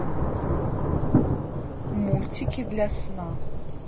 мультики для сна